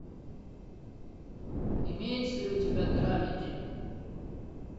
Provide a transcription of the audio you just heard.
имеется ли у тебя драмеди